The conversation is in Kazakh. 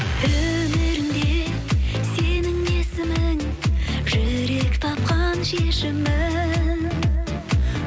өмірімде сенің есімің жүрек тапқан шешімін